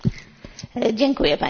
Pani Przewodnicząca!